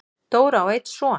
Dóra á einn son.